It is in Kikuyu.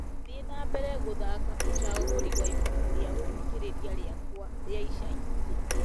thiĩ na mbere gũthaaka ũcagũri wa ibuku rĩa gũthikĩrĩria rĩakwa rĩa ica ikuhĩ